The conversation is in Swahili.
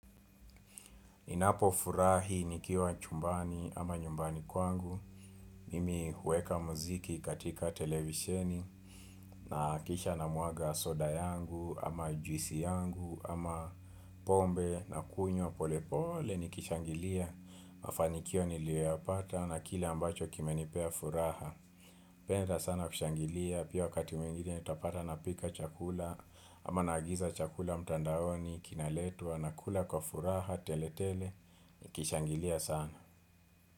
Ninapo furahi nikiwa chumbani ama nyumbani kwangu, mimi huweka muziki katika televisheni na kisha na mwaga soda yangu ama juisi yangu ama pombe na kunywa pole pole niki shangilia mafanikio niliyo yapata na kile ambacho kime nipea furaha. Napenda sana kushangilia, pia wakati mwingine utapata napika chakula, ama nagiza chakula mtandaoni, kina letwa, nakula kwa furaha, tele tele, niki shangilia sana.